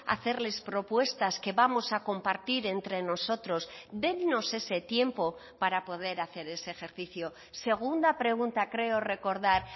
hacerles propuestas que vamos a compartir entre nosotros dennos ese tiempo para poder hacer ese ejercicio segunda pregunta creo recordar